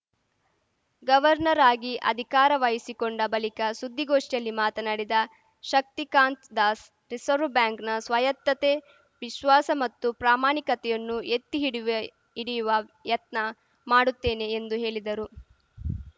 governor ಆಗಿ ಅಧಿಕಾರ ವಹಿಸಿಕೊಂಡ ಬಳಿಕ ಸುದ್ದಿಗೋಷ್ಠಿಯಲ್ಲಿ ಮಾತನಾಡಿದ ಶಕ್ತಿಕಾಂತ್‌ ದಾಸ್‌ ರಿಸರ್ವ್ ಬ್ಯಾಂಕ್‌ನ ಸ್ವಾಯತ್ತತೆ ವಿಶ್ವಾಸ ಮತ್ತು ಪ್ರಾಮಾಣಿಕತೆಯನ್ನು ಎತ್ತಿಹಿಡಿಯುವೆ ಎತ್ತಿಹಿಡಿಯುವ ಯತ್ನ ಮಾಡುತ್ತೇನೆ ಎಂದು ಹೇಳಿದರು